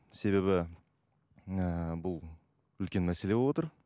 себебі ыыы бұл үлкен мәселе болып отыр